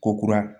Ko kura